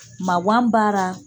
Maŋan b'ara